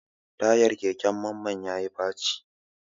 Tayar keken Mamman ya yi faci.